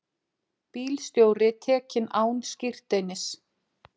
Bílstjóri tekinn án skírteinis